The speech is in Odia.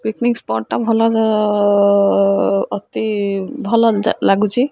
ପିକନିକ୍ ସ୍ପଟ୍ ଟା ଭଲ୍ ଲ୍ ଅତି ଭଲ ଲାଗୁଛି।